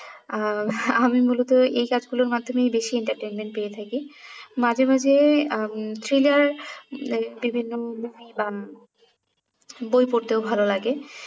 আহ আমি মূলত এই কাজগুলোর মাধ্যমেই বেশি entertainment পেয়ে থাকি মাঝে মাঝে উম thriller বিভিন্ন movie বা বই পড়তেও ভালো লাগে